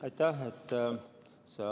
Aitäh!